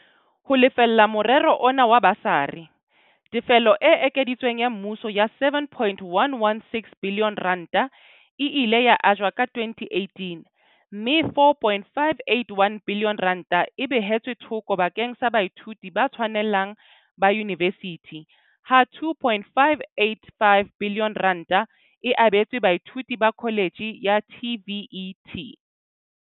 Ho lefella morero ona wa basari, tefelo e ekeditsweng ya mmuso ya R7.166 biliyone e ile ya ajwa ka 2018 mme R4.581 biliyone e behetswe thoko bakeng sa baithuti ba tshwanelang ba yunivesithi ha R2.585 biliyone e abetswe baithuti ba kholetjhe ya TVET.